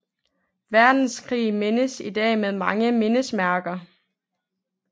Verdenskrig mindes i dag med mange mindesmærker